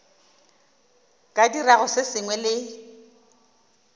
ka dirago se sengwe le